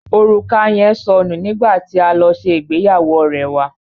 Orùka yẹn sọ nù nígbà tí a lọ sí ìgbéyàwó ọ̀rẹ́ wà.